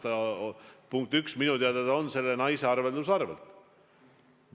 Punkt üks, minu teada on raha pärit selle naise arvelduskontolt.